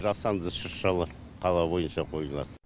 жасанды шыршалар қала бойынша қойылады